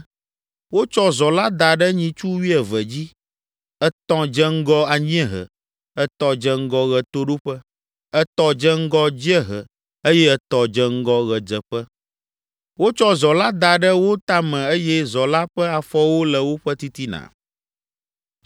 Wotsɔ zɔ la da ɖe nyitsu wuieve dzi. Etɔ̃ dze ŋgɔ anyiehe, etɔ̃ dze ŋgɔ ɣetoɖoƒe, etɔ̃ dze ŋgɔ dziehe eye etɔ̃ dze ŋgɔ ɣedzeƒe. Wotsɔ zɔ la da ɖe wo tame eye zɔ la ƒe afɔwo le woƒe titina.